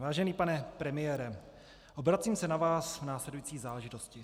Vážený pane premiére, obracím se na vás v následující záležitosti.